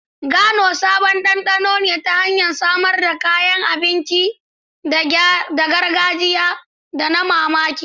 Gano sabon dandano ta hanyar samar da kayan abinci na gargajiya da na ban mamaki.